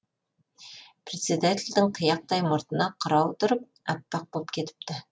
председательдің қияқтай мұртына қырау тұрып аппақ боп кетіпті